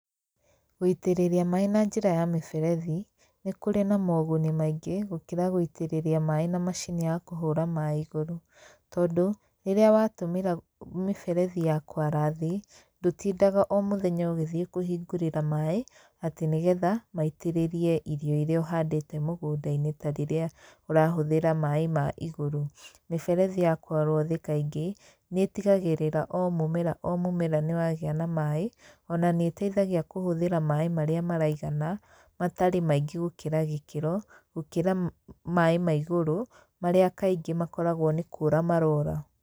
Gũitĩrĩria maĩ na njĩra ya mĩberethi nĩ kũrĩ na moguni maingĩ gũkĩra gũitĩrĩria maĩ na macini ya kũhũra maĩ igũrũ. Tondũ, rĩrĩa watũmĩra mĩberethi ya kwara thĩ, ndũtindaga o mũthenya ũgĩthiĩ kũhingũrĩra maĩ atĩ nĩ getha maitĩrĩrie irio irĩa ũhandĩte mũgũnda-inĩ ta rĩrĩa ũrahũthĩra maĩ ma igũrũ, mĩberethi ya kwarwo thĩ kaingĩ nĩ ĩtigagĩrĩra o mũmera o mũmera nĩ wagĩa na maĩ ona nĩtheithagia kũhũthĩra maĩ marĩa maraigana matarĩ maingĩ gũkĩra gĩkĩro gũkĩra maĩ ma igũrũ marĩa kaingĩ makoragwo nĩ kũra marora.